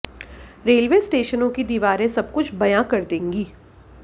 railway स्टेशनों की दीवारें सबकुछ बयां कर देंगी